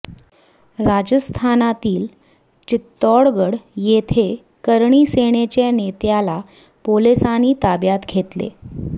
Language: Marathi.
राजस्थानातील चितोडगड येथे करणी सेनेच्या नेत्याला पोलिसांनी ताब्यात घेतले